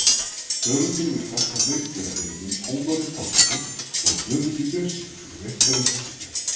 höfundur vill þakka meindýraeyðunum ómari pálssyni og guðmundi björnssyni fyrir veittar upplýsingar